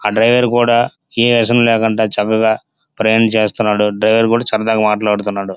ఆ డ్రైవర్ కూడా ఏ ఏసనం లేకుంటే చక్కగా ప్రయాణం చేస్తున్నాడు. డ్రైవర్ కూడా చక్కగా మాట్లాడుతున్నాడు.